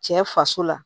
Cɛ faso la